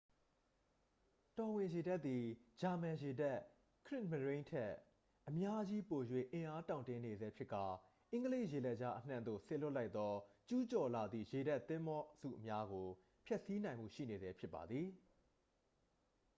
တော်ဝင်ရေတပ်သည် ဂျာမန်ရေတပ် ခရစ်မရိုန်း” ထက် အများကြီးပို၍အင်အားတောင့်တင်းနေဆဲဖြစ်ကာ အင်္ဂလိပ်ရေလက်ကြားအနှံ့သို့ စေလွှတ်လိုက်သော ကျူးကျော်လာသည့် ရေတပ်သင်္ဘောစုများကို ဖျက်ဆီးနိုင်မှုရှိနေဆဲဖြစ်ပါသည်။